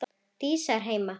Dísa er heima!